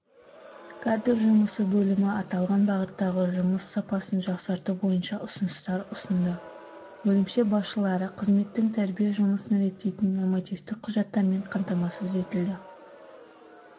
кадр жұмысы бөлімі аталған бағыттағы жұмыс сапасын жақсарту бойынша ұсыныстар ұсынды бөлімше басшылары қызметтің тәрбие жұмысын реттейтін нормативтік құжаттармен қамтамасыз етілді